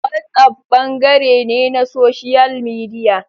WhatsApp bangare ne na Social Media.